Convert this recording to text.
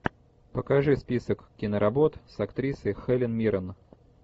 покажи список киноработ с актрисой хелен миррен